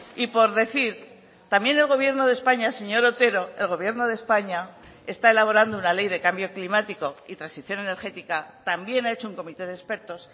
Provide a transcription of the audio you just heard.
y por decir también el gobierno de españa señor otero el gobierno de españa está elaborando una ley de cambio climático y transición energética también ha hecho un comité de expertos